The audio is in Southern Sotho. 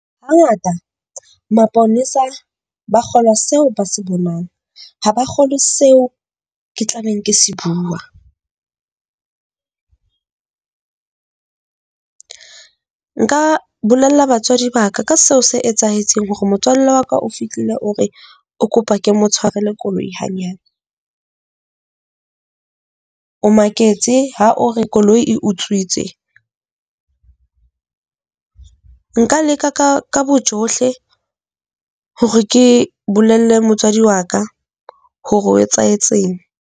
Hangata maponesa ba kgolwa seo ba se bonang, ha ba kgolwe seo ke tla beng ke se bua. Nka bolella batswadi ba ka ka seo se etsahetseng hore motswalle wa ka o fihlile, o re o kopa ke mo tshwarele koloi hanyane. O maketse ha o re koloi e utswitswe. Nka leka ka ka bojohle hore ke bolelle motswadi wa ka hore ho etsahetseng.